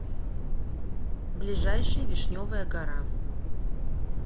ближайший вишневая гора